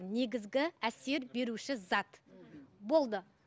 негізгі әсер беруші зат болды